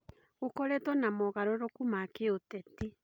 Gũkoretwo na mogarũrũku ma kĩũteti.